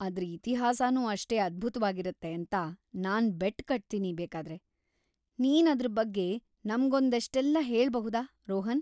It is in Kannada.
ಅದ್ರ್‌ ಇತಿಹಾಸನೂ ಅಷ್ಟೇ ಅದ್ಭುತ್ವಾಗಿರತ್ತೆ ಅಂತ ನಾನ್ ಬೆಟ್‌ ಕಟ್ತೀನಿ ಬೇಕಾದ್ರೆ, ನೀನ್ ಅದ್ರ್ ಬಗ್ಗೆ ನಮ್ಗೊಂದಷ್ಟೆಲ್ಲ ಹೇಳ್ಬಹುದಾ, ರೋಹನ್?